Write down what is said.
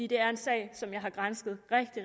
det er en sag som jeg har gransket